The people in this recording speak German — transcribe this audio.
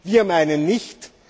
Wir meinen nicht.